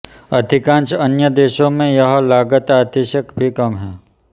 अधिकांश अन्य देशों में यह लागत आधी से भी कम है